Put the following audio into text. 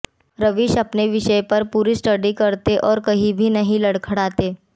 रवीश अपने विषय पर पूरी स्टडी करते हैं और कहीं भी नहीं लडख़ड़ाते